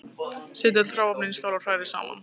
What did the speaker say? Setjið öll hráefnin í skál og hrærið saman.